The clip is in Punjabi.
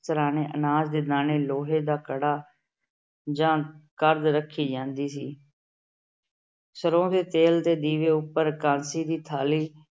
ਸਿਰਹਾਣੇ ਅਨਾਜ ਦੇ ਦਾਣੇ, ਲੋਹੇ ਦਾ ਕੜਾ ਜਾਂ ਕਰਦ ਰੱਖੀ ਜਾਂਦੀ ਸੀ। ਸਰ੍ਹੋਂ ਦੇ ਤੇਲ ਦੇ ਦੀਵੇ ਉਪਰ ਇਕਾਦਸ਼ੀ ਦੀ ਥਾਲੀ